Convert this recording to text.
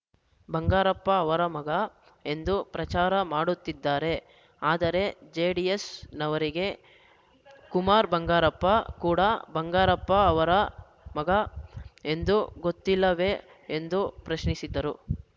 ಬಂಗಾರಪ್ಪ ಅವರ ಮಗ ಎಂದು ಪ್ರಚಾರ ಮಾಡುತ್ತಿದ್ದಾರೆ ಆದರೆ ಜೆಡಿಎಸ್‌ನವರಿಗೆ ಕುಮಾರ್‌ ಬಂಗಾರಪ್ಪ ಕೂಡಾ ಬಂಗಾರಪ್ಪ ಅವರ ಮಗ ಎಂದು ಗೊತ್ತಿಲ್ಲವೇ ಎಂದು ಪ್ರಶ್ನಿಸಿದರು